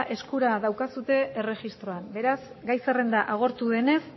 eskura daukazue erregistroan beraz gai zerrenda agortu denez